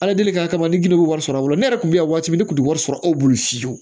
Ala deli kama ne gili bɛ wari sɔrɔ ne yɛrɛ kun bɛ yan waati min ne tun tɛ wari sɔrɔ e bolo fiyewu